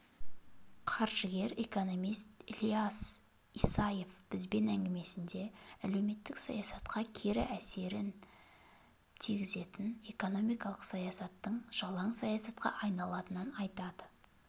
қаржыгер-экономист ілияс исаев бізбен әңгімесінде әлеуметтік саясатқа кері әсерін тигізетін экономикалық саясаттың жалаң саясатқа айналатынын айтады